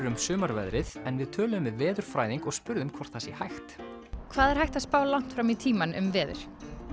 um sumarveðrið en við töluðum við veðurfræðing og spurðum hvort það sé hægt hvað er hægt að spá langt fram í tímann um veður